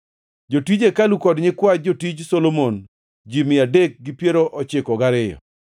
Jotij hekalu kod nyikwa jotij Solomon ji mia adek gi piero ochiko gariyo (392).